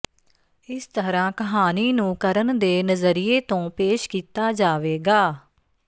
ਇਸ ਤਰ੍ਹਾਂ ਕਹਾਣੀ ਨੂੰ ਕਰਨ ਦੇ ਨਜ਼ਰੀਏ ਤੋਂ ਪੇਸ਼ ਕੀਤਾ ਜਾਵੇਗਾ